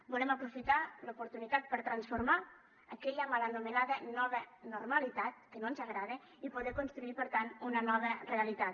volem aprofitar l’oportunitat per transformar aquella mal anomenada nova normalitat que no ens agrada i poder construir per tant una nova realitat